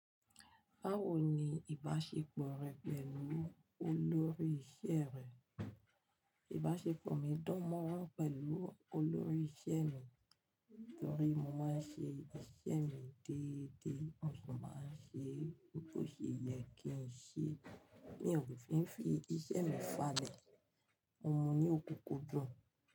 Báwo ni ìbáṣepọ̀ rẹ pẹ̀lú olórí iṣẹ́ rẹ? Ìbáṣepọ̀ mi dùn mọ́rán pẹ̀lú olórí iṣẹ́ mi, nítorí mo máa ń ṣe iṣẹ́ mi déédé, ó sì máa ń ṣe ohun tó ṣe yẹ kí n ṣe. Ní òfin fi iṣẹ́ mi falẹ̀, mo mu ní òkùnkùn dùn.